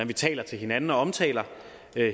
vi taler til hinanden og omtaler